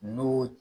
N'o